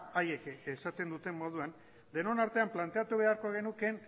haiek esaten duten moduan denon artean planteatu beharko genukeen